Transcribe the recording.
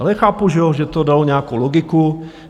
Ale chápu, že to dalo nějakou logiku.